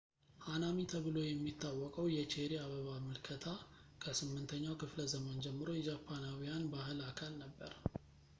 ሃናሚ ተብሎ የሚታወቀው የቼሪ አበባ ምልከታ ከ8ኛው ክፍለዘመን ጀምሮ የጃፓናውያን ባህል አካል ነበር